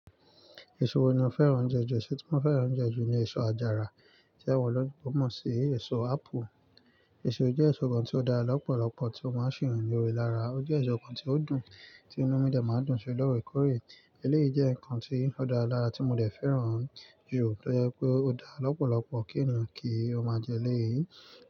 Èso wo ni a fẹ́ràn jẹ ju, èso tí wọ́n fẹ́ràn jẹ ju ni èso àjàrà, tí ẹgbẹ́ wọn ló gbọ́n mọ̀ sí èso apple. Èso jẹ́ èso kan tí ó dá lọ́pọ̀lọ́pọ̀ tí ó máa ń ṣìrun lórí ara. Ó jẹ́ èso kan tí ó dùn, tí inú mi dej máa ń dùn ṣe lọ́rẹkọ̀ọ̀rẹ́. Eléyìí jẹ́ nǹkan tí ó dára lára tí mo dẹ̀ fẹ́ràn jù, tó jẹ́ pé ó dá lọ́pọ̀lọ́pọ̀ kí ènìyàn kí ó máa jẹ eléyìí.